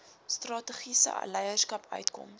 strategiese leierskap uitkoms